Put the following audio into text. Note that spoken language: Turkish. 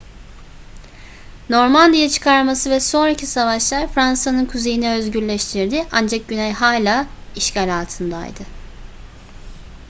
normandiya çıkarması ve sonraki savaşlar fransa'nın kuzeyini özgürleştirdi ancak güney hala işgal altındaydı